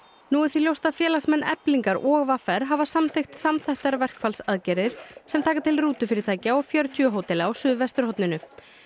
nú er því ljóst að félagsmenn Eflingar og v r hafa samþykkt samþættar verkfallsaðgerðir sem taka til rútufyrirtækja og fjörutíu hótela á suðvesturhorninu